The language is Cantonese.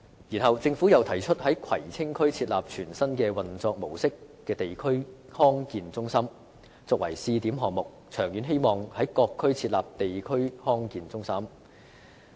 然後，政府又提出在葵青區設立全新運作模式的地區康健中心作為試點項目，並長遠希望在各區設立地區康健中心。